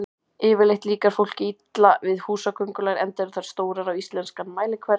Yfirleitt líkar fólki illa við húsaköngulær enda eru þær stórar á íslenskan mælikvarða.